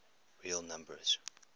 real numbers